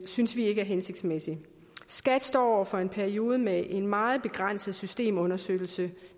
synes vi ikke er hensigtsmæssigt skat står over for en periode med en meget begrænset systemunderstøttelse